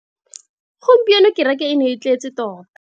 Gompieno kereke e ne e tletse tota.